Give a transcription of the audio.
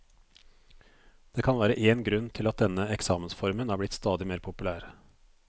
Det kan være én grunn til at denne eksamensformen er blitt stadig mer populær.